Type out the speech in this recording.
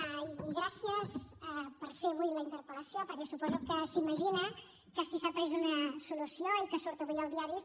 i gràcies per fer avui la interpel·lació perquè suposo que s’imagina que si s’ha pres una solució que surt avui als diaris